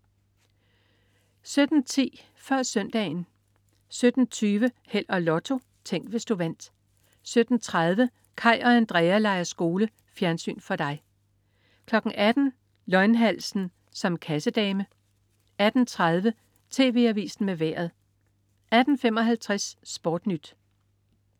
17.10 Før Søndagen 17.20 Held og Lotto. Tænk, hvis du vandt 17.30 Kaj og Andrea leger skole. Fjernsyn for dig 18.00 Løgnhalsen som kassedame 18.30 TV Avisen med Vejret 18.55 SportNyt